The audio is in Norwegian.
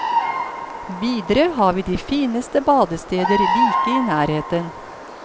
Videre har vi de fineste badesteder like i nærheten.